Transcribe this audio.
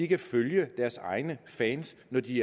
kan følge deres egne fans når de